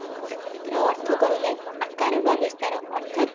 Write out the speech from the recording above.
ରାଜନୀତିର ଅର୍ଥ କହିଲେ ଆକାର ବା ବିସ୍ତାର ଅର୍ଥାତ